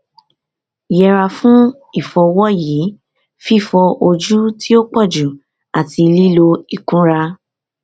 yẹra fun ifọwọyi fifọ oju ti o pọju ati lilo ikunra